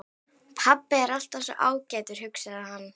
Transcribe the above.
Pabbi er alltaf svo ágætur, hugsaði hann.